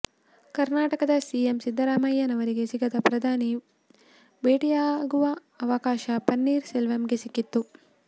ಕರ್ನಾಟಕದ ಸಿಎಂ ಸಿದ್ದರಾಮಯ್ಯನವರಿಗೆ ಸಿಗದ ಪ್ರಧಾನಿ ಭೇಟಿಯಾಗುವ ಅವಕಾಶ ಪನ್ನೀರ್ ಸೆಲ್ವಂಗೆ ಸಿಕ್ಕಿತು